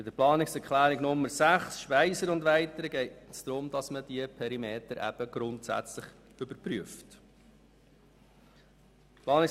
Bei Planungserklärung 6 Speiser und weitere, geht es darum, dass die Perimeter grundsätzlich überprüft werden.